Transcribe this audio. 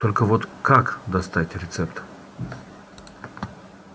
только вот как достать рецепт